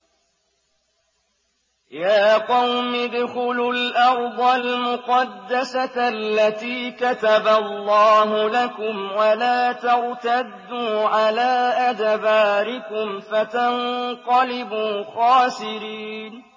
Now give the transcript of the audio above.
يَا قَوْمِ ادْخُلُوا الْأَرْضَ الْمُقَدَّسَةَ الَّتِي كَتَبَ اللَّهُ لَكُمْ وَلَا تَرْتَدُّوا عَلَىٰ أَدْبَارِكُمْ فَتَنقَلِبُوا خَاسِرِينَ